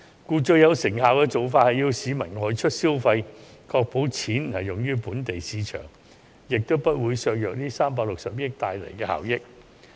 故最有成效的做法是鼓勵市民外出消費，確保款項用於本地市場，也不會削弱這360億元帶來的效益。